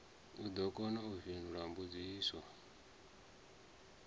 ḓo kona u fhindula mbudziso